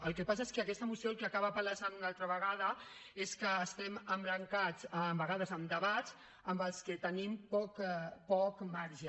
el que passa és que aquesta moció el que acaba palesant una altra vegada és que estem embrancats a vegades en debats en què tenim poc marge